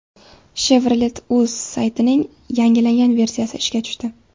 Chevrolet.uz saytining yangilangan versiyasi ishga tushdi.